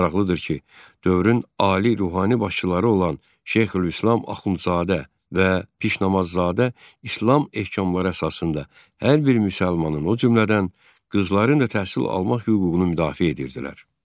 Maraqlıdır ki, dövrün ali ruhani başçıları olan Şeyxülislam Axundzadə və Pişnamazzadə İslam ehkamları əsasında hər bir müsəlmanın, o cümlədən qızların da təhsil almaq hüququnu müdafiə edirdilər.